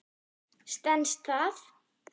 Stenst það?